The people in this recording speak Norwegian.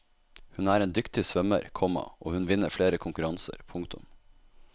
Hun er en dyktig svømmer, komma og hun vinner flere konkurranser. punktum